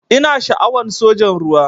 Ina sha'awan sojan ruwa.